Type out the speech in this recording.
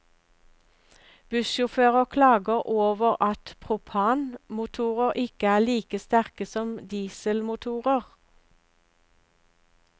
Bussjåfører klager over at propanmotorer ikke er like sterke som dieselmotorer.